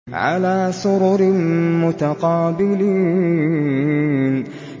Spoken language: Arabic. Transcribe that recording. عَلَىٰ سُرُرٍ مُّتَقَابِلِينَ